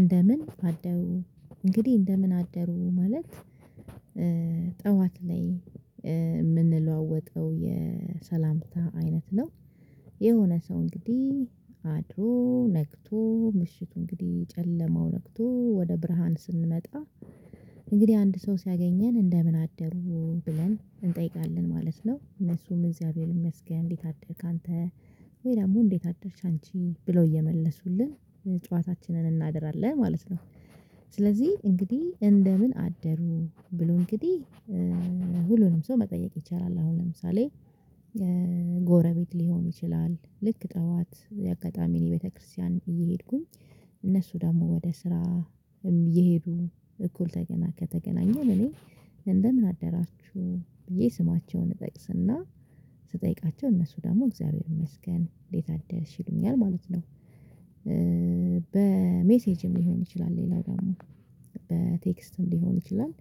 እንደምን አደሩ እንግዲህ እንደምን አደሩ ማለት ጠዋት ላይ የምንለዋወጠው የሰላምታ አይነት ነው። የሆነ ሰው እንግዲህ አድሮ ነግቶ ምሽቱ እንግዲህ ጨለማው ነግቶ ወደ ብርሃን ስንመጣ። እንግዲህ አንድ ሰው ሲያገኘን እንደምን አደሩ ብለን እንጠይቃለን ማለት ነው። እነሱም እግዚአብሔር ይመስገን እንዴት አደርክ አንተ ወይ ደሞ እንዴት አደርሽ አንቺ ብለው እየመለሱልን ጨዋታችንን እናደራለን ማለት ነው። ስለዚህ እንግዲህ እንደምን አደሩ ብሎ እንግዲህ ሁሉንም ሰው መጠየቅ ይቻላል። አሁን ለምሳሌ ጎረቤት ሊሆን ይችላል ልክ ጠዋት አጋጣሚ እኔ ቤተክርስቲያን እየሄድኩኝ። እነሱ ደሞ ወደ ስራ እም የሄዱ እኩል ተገና ከተገናኘን እኔ እንደምን አደራችሁ ብዬ ስማቸውን እጠቅስና ስጠይቃቸው እነሱ ደሞ እግዚአብሔር ይመስገን እንዴት አደርሽ ይሉኛል ማለት ነው። በሜሴጅም ሊሆን ይችላል ሌላው ደሞ በቴክስትም ሊሆን ይችላል።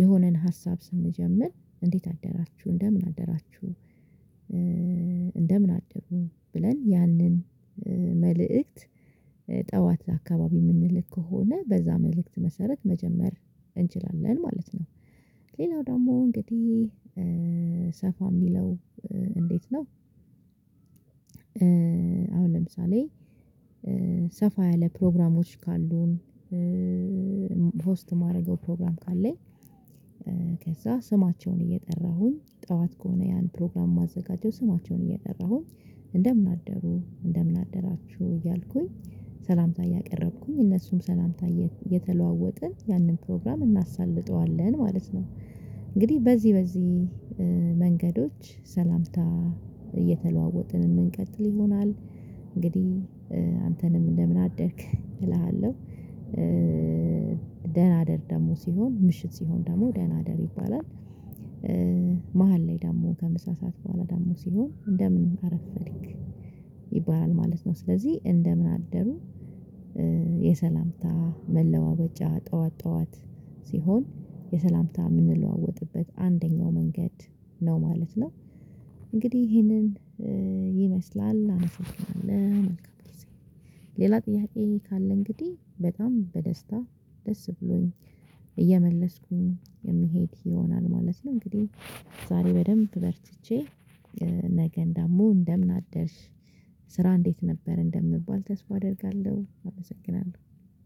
የሆነን ሀሳብ ስንጀምር እንዴት አደራችሁ እንደምን አደራችሁ? እንደምን አደሩ ብለን ያንን መልእክት ጠዋት አካባቢ የምንልክ ከሆነ በዛ መልእክት መሰረት መጀመር እንችላለን ማለት ነው። ሌላው ደሞ እንግዲህ ሰፋ ሚለው እንዴት ነው? አሁን ለምሳሌ ሰፋ ያለ ፕሮግራሞች ካሉን። ሆስት ማርገው ፕሮግራም ካለኝ። ከዛ ስማቸውን እየጠራሁኝ ጠዋት ከሆነ ያን ፕሮግራም ማዘጋጀው ስማቸውን እየጠራሁኝ እንደምን አደሩ እንደምን አደራችሁ እያልኩኝ ሰላምታ እያቀረብኩኝ እነሱም ሰላምታ እየተለዋወጥን ያንን ፕሮግራም እናሳልጠዋለን ማለት ነው። እንግዲህ በዚህ በዚህ መንገዶች ሰላምታ እየተለዋወጥን ምንቀጥል ይሆናል። እንግዲህ አንተንም እንደምን አደርክ እልሃለሁ። ደህና ደር ደሞ ሲሆን ምሽት ሲሆን ደሞ ደህና ደር ይባላል። መሃል ላይ ደሞ ከምሳ ሰዓት በኋላ ደሞ ሲሆን እንደምን አረፈድክ ይባላል ማለት ነው። ስለዚህ እንደምን አደሩ የሰላምታ መለዋወጫ ጠዋት ጠዋት ሲሆን የሰላምታ የምንለዋወጥበት አንደኛው መንገድ ነው ማለት ነው። እንግዲህ ይህንን ይመስላል አመሰግናለሁ መልካም ጊዜ። ሌላ ጥያቄ ካለ እንግዲህ በጣም በደስታ ደስ ብሎኝ እየመለስኩኝ የሚሄድ ይሆናል ማለት ነው። እንግዲህ ዛሬ በደንብ በርትቼ ነገን ደሞ እንደምን አደርሽ ስራ እንዴት ነበር እንደምባል ተስፋ አደርጋለሁ አመሰግናለሁ